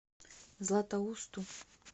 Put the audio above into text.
златоусту